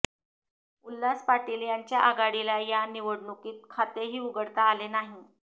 उल्हास पाटील यांच्या आघाडीला या निवडणुकीत खातेही उघडता आले नाही